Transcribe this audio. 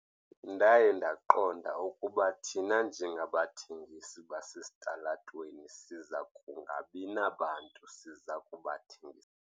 Ndaye ndaqonda ukuba thina njengabathengisi basesitalatweni siza kungabi nabantu siza kubathengisela.